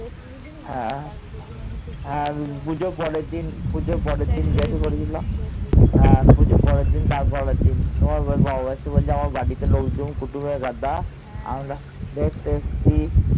হ্যাঁ। পুজোর পরের দিন, তার পরের দিন। তোমার বাবা এসে বলছে আমার বাড়িতে লোকজন, কুটুমের গাদা। আমরা দেখতে এসছি।